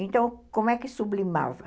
Então, como é que sublimava?